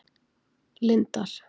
Lindar